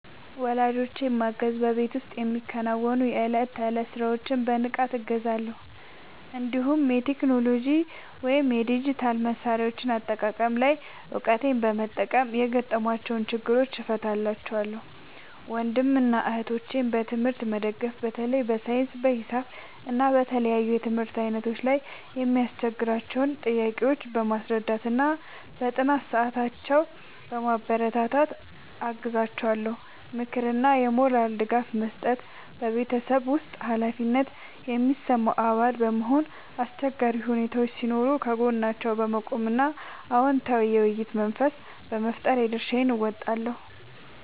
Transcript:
ወላጆቼን ማገዝ በቤት ውስጥ የሚከናወኑ የዕለት ተዕለት ሥራዎችን በንቃት እገዛለሁ፤ እንዲሁም የቴክኖሎጂ ወይም የዲጂታል መሣሪያዎች አጠቃቀም ላይ እውቀቴን በመጠቀም የገጠሟቸውን ችግሮች እፈታላቸዋለሁ። ወንድምና እህቶቼን በትምህርት መደገፍ በተለይ በሳይንስ፣ በሂሳብ እና በተለያዩ የትምህርት ዓይነቶች ላይ የሚያስቸግሯቸውን ጥያቄዎች በማስረዳትና በጥናት ሰዓታቸው በማበረታታት አግዛቸዋለሁ። ምክርና የሞራል ድጋፍ መስጠት በቤተሰብ ውስጥ ኃላፊነት የሚሰማው አባል በመሆን፣ አስቸጋሪ ሁኔታዎች ሲኖሩ ከጎናቸው በመቆም እና አዎንታዊ የውይይት መንፈስ በመፍጠር የድርሻዬን እወጣለሁ።